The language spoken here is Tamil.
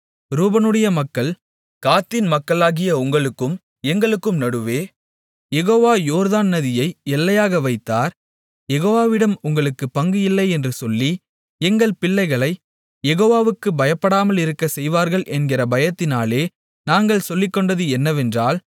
ரூபனுடைய மக்கள் காத்தின் மக்களாகிய உங்களுக்கும் எங்களுக்கும் நடுவே யெகோவா யோர்தான் நதியை எல்லையாக வைத்தார் யெகோவாவிடம் உங்களுக்குப் பங்கு இல்லை என்று சொல்லி எங்கள் பிள்ளைகளைக் யெகோவா வுக்குப் பயப்படாமலிருக்கச் செய்வார்கள் என்கிற பயத்தினாலே நாங்கள் சொல்லிக்கொண்டது என்னவென்றால்